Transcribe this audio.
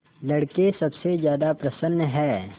लड़के सबसे ज्यादा प्रसन्न हैं